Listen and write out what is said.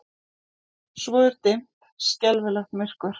Svo er dimmt, skelfilegt myrkur.